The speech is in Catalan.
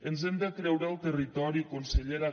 ens hem de creure el territori consellera